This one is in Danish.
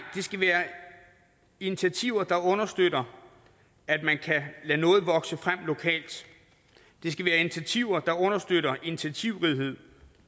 det skal være initiativer der understøtter at man kan lade noget vokse frem lokalt det skal være initiativer der understøtter initiativrighed